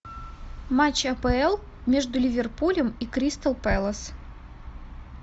матч апл между ливерпулем и кристал пэлас